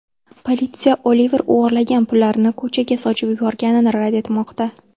Politsiya Oliver o‘g‘irlagan pullarini ko‘chaga sochib yuborganini rad etmoqda.